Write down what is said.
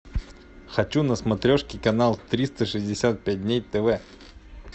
хочу на смотрешке канал триста шестьдесят пять дней тв